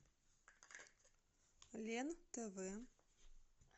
лен тв